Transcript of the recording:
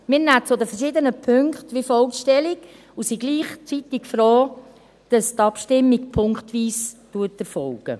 Wir nehmen zu den verschiedenen Punkten wie folgt Stellung und sind gleichzeitig froh, dass die Abstimmung punktweise erfolgt.